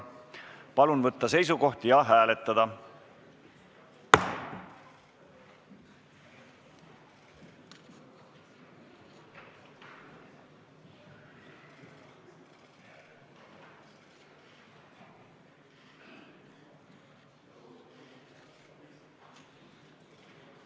Palun võtta seisukoht ja hääletada!